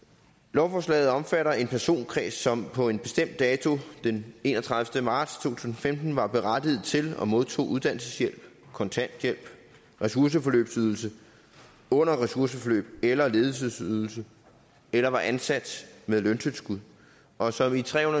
lovforslaget omfatter en personkreds som på en bestemt dato den enogtredivete marts to tusind og femten var berettiget til og modtog uddannelseshjælp kontanthjælp ressourceforløbsydelse under ressourceforløb eller ledighedsydelse eller var ansat med løntilskud og som i tre